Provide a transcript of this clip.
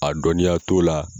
A dɔnniya t'o la